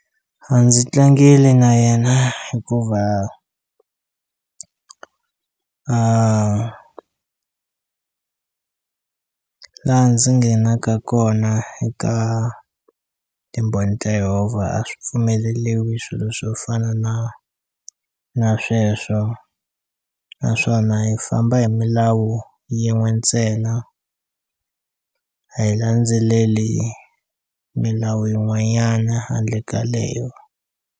A ndzi tlangeli na yena hikuva laha ndzi nghenaka kona eka timbhoni ta Yehovha a swi pfumeleliwi swilo swo fana na na sweswo naswona hi famba hi milawu yin'we ntsena a hi landzeleli milawu yin'wanyana handle ka leyo.